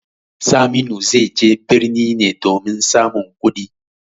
Saminu zai je birni ne domin samun kuɗi.